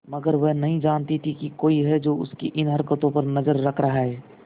मगर वह नहीं जानती थी कोई है जो उसकी इन हरकतों पर नजर रख रहा है